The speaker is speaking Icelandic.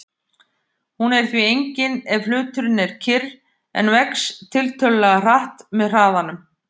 Hún er því engin ef hluturinn er kyrr en vex tiltölulega hratt með hraðanum.